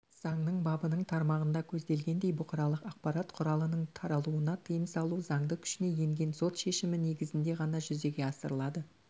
заңның бабының тармағында көзделгендей бұқаралық ақпарат құралының таралуына тыйым салу заңды күшіне енген сот шешімі негізінде ғана жүзеге асырылады